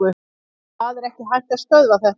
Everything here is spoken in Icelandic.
Það er ekki hægt að stöðva þetta.